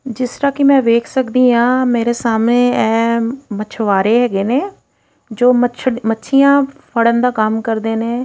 ਜਿਸ ਤਰ੍ਹਾਂ ਕਿ ਮੈਂ ਵੇਖ ਸਕਦੀ ਆਂ ਮੇਰੇ ਸਾਹਮਣੇ ਆਹ ਮਸ਼ਵਾਰੇ ਹੈਗੇ ਨੇ ਜੋ ਮੱਛੀਆਂ ਫੜਨ ਦਾ ਕੰਮ ਕਰਦੇ ਨੇ --